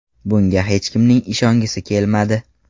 Bunga hech kimning ishongisi kelmadi”.